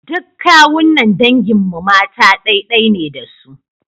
Duk kawunnan dangin mu mata ɗai-ɗai ne da su.